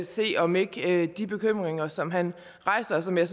se om ikke de bekymringer som han rejser og som jeg